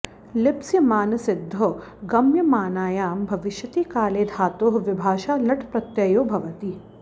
लिप्स्यमानसिद्धौ गम्यमानायां भविष्यति काले धातोः विभाषा लट् प्रत्ययो भवति